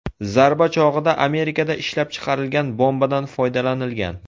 Zarba chog‘ida Amerikada ishlab chiqarilgan bombadan foydalanilgan.